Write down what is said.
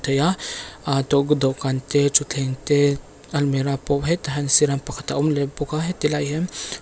aa dawhkan te thutthleng te almirah pawh hetah hian siran pakhat a awm leh bawk a heti lai ah hian.